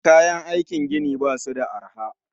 Kayan aiki gini basu da arha